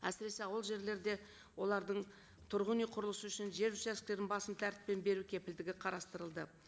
әсіресе ауыл жерлерде олардың тұрғын үй құрылысы үшін жер участоктерін басым тәртіппен беру кепілдігі қарастырылды